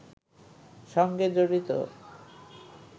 সঙ্গে জড়িত